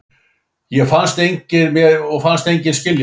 Og fannst enginn skilja mig.